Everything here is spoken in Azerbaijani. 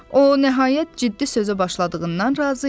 O, nəhayət, ciddi sözə başladığından razı idi.